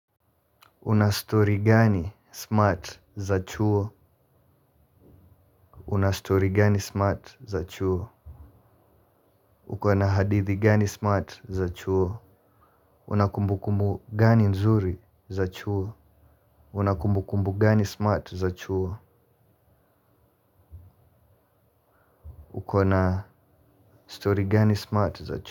Una stori gani smart za chuo? Una stori gani smart za chuo? Uko na hadithi gani smart za chuo? Una kumbukumbu gani nzuri za chuo? Unakumbukumbu gani smart za chuo? Uko na story gani smart za chuo?